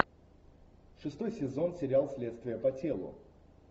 шестой сезон сериал следствие по телу